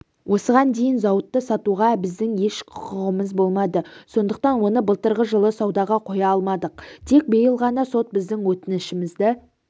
осыған дейін зауытты сатуға біздің еш құқығымыз болмады сондықтан оны былтырғы жылы саудаға қоя алмадық тек биыл ғана сот біздің өтінішімізді